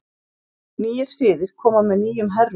Nýir siðir koma með nýjum herrum.